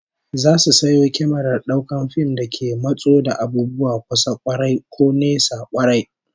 Za su sayo kyamarar daukar fim da ke matso da abubuwa kusa kwarai, ko nesa kwarai